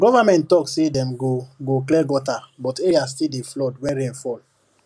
government talk say dem go go clear gutter but area still dey flood when rain fall